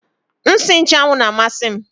Nsị nchụ́anwu na amasị m